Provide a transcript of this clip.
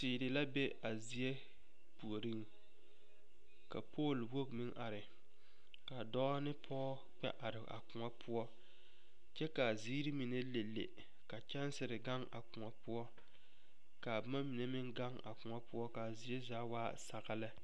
Teere la be a zie puoriŋ ka poluu wogi meŋ are ka dɔɔ ne pɔge kpɛ are a kõɔ poɔ kyɛ ka a ziiri mine lele ka kyɛnsere gaŋ a kõɔ poɔ ka boma mine meŋ gaŋ a kõɔ poɔ ka a zie zaa waa saga lɛ.